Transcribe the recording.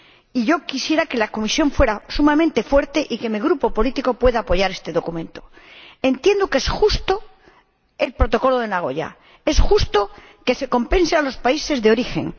Y yo quisiera que la Comisión fuera sumamente fuerte y que mi Grupo político pueda apoyar este documento. Entiendo que el Protocolo de Nagoya es justo es justo que se compense a los países de origen